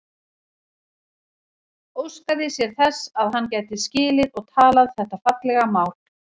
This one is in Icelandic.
Óskaði sér þess að hann gæti skilið og talað þetta fallega mál.